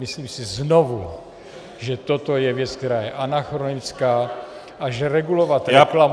Myslím si znovu, že toto je věc, která je anachronická a že regulovat reklamu -